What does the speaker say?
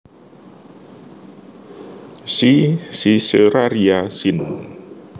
C siceraria sin